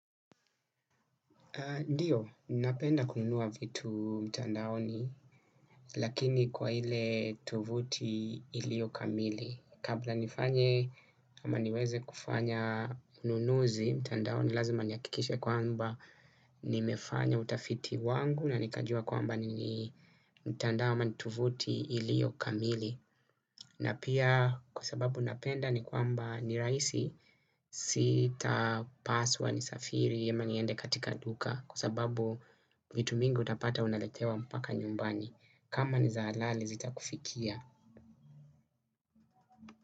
Ndiyo, napenda kununua vitu mtandaoni, lakini kwa ile tovuti ilio kamili. Kabla nifanye ama niweze kufanya ununuzi, mtandaoni lazima niyakikishe kwamba nimefanya utafiti wangu na nikajua kwamba nini mtandao ama tuvuti ilio kamili. Na pia kuasababu napenda ni kwamba niraisi sita paswa nisafiri ama niende katika duka kua sababu vitu mingi utapata unaletewa mpaka nyumbani kama ni za halali zitakufikia.